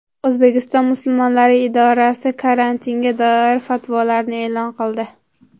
O‘zbekiston musulmonlari idorasi karantinga doir fatvolarni e’lon qildi .